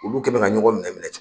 Olu kɛ bɛn ka ɲɔgɔn minɛ minɛ ten